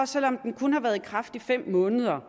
selv om den kun har været i kraft i fem måneder er